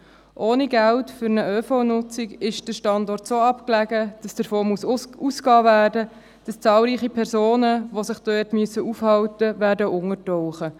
Ohne Geld für eine ÖV-Nutzung ist der Standort so abgelegen, dass davon ausgegangen werden muss, dass zahlreiche Personen, die sich dort aufhalten müssen, untertauchen werden.